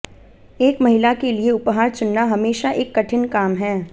एक महिला के लिए उपहार चुनना हमेशा एक कठिन काम है